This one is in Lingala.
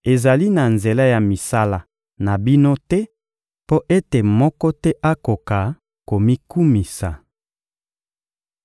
ezali na nzela ya misala na bino te mpo ete moko te akoka komikumisa.